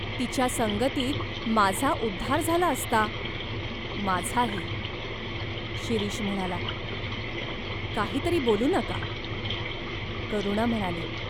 तिच्या संगतीत माझा उद्धार झाला असता." "माझाही !" शिरीष म्हणाला. "काही तरी बोलू नका," करुणा म्हणाली.